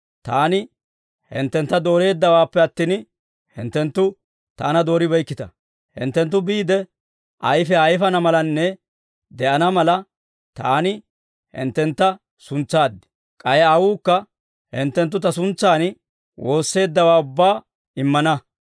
Taani hinttentta dooreeddawaappe attin, hinttenttu Taana dooribeykkita. Hinttenttu biide ayfiyaa ayfana malanne de'ana mala, Taani hinttentta suntsaad. K'ay Aawuukka hinttenttu Ta suntsan woosseeddawaa ubbaa immana.